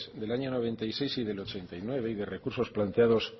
del año noventa y seis y del ochenta y nueve y de recursos planteados